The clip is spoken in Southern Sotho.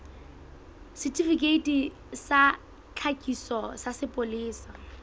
setifikeiti sa tlhakiso sa sepolesa